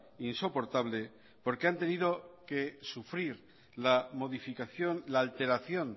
insoportable porque han tenido que sufrir la modificación la alteración